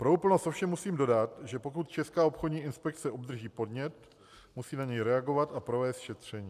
Pro úplnost ovšem musím dodat, že pokud Česká obchodní inspekce obdrží podnět, musí na něj reagovat a provést šetření.